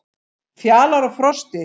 Fjalar og Frosti,